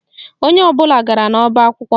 Onye ọbụla gara n'ọba akwụkwọ